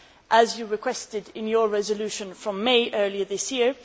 as you requested in your resolution from May earlier this year.